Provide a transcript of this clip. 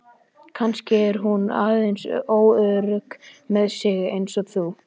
Kannski er hún aðeins óörugg með sig eins og þú.